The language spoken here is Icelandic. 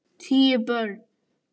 Tíu börn.